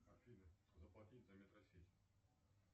афина заплатить за метросеть